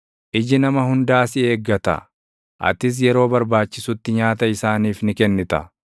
Iji nama hundaa si eeggata; atis yeroo barbaachisutti nyaata isaaniif ni kennita.